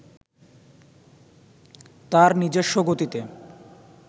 তার নিজস্ব গতিতে